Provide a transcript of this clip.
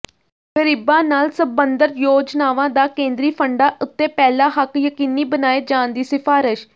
ਗਰੀਬਾਂ ਨਾਲ ਸਬੰਧਤ ਯੋਜਨਾਵਾਂ ਦਾ ਕੇਂਦਰੀ ਫੰਡਾਂ ਉੱਤੇ ਪਹਿਲਾ ਹੱਕ ਯਕੀਨੀ ਬਣਾਏ ਜਾਣ ਦੀ ਸਿਫਾਰਸ਼